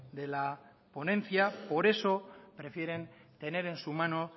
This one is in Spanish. de la ponencia por eso prefieren tener en su mano